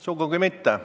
Sugugi mitte.